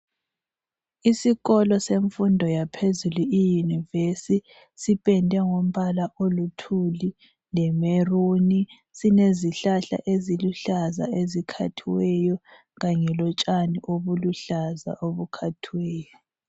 Esikolo semfundo yaphezulu iyunivesi siphendwe ngombala olithuli lemeluni. Solezihlahla eziluhlaza ezikhathiweyo, khanye lotshani oluluhlaza okhathiweyo.